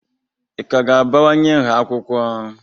Ị ka ga-abawanye nha akwụkwọ?